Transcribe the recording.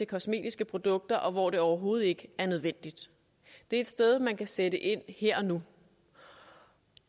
kosmetiske produkter og hvor det overhovedet ikke er nødvendigt det er et sted man kan sætte ind her og nu